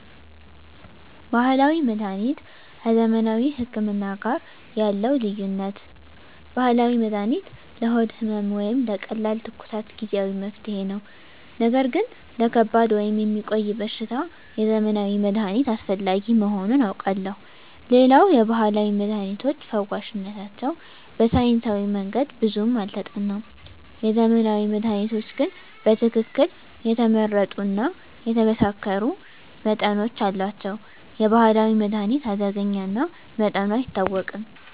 ባህላዊ መድሀኒት ከዘመናዊ ህክምና ጋር ያለው ልዩነት፦ ባህላዊ መድሃኒት ለሆድ ህመም ወይም ለቀላል ትኩሳት ጊዜአዊ መፍትሄ ነው። ነገር ግን ለከባድ ወይም የሚቆይ በሽታ የዘመናዊ መድሃኒት አስፈላጊ መሆኑን አውቃለሁ። ሌላው የባህላዊ መድሃኒቶች ፈዋሽነታቸው በሳይንሳዊ መንገድ ብዙም አልተጠናም። የዘመናዊ መድሃኒቶች ግን በትክክል የተመረጡ እና የተመሳከሩ መጠኖች አሏቸው። የባህላዊ መድሃኒት አደገኛ እና መጠኑ አይታወቅም።